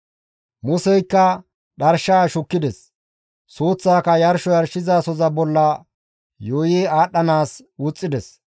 Museykka dharshaa shukkides; suuththaaka yarsho yarshizasoza bolla yuuyi aadhdhanaas wuxxides.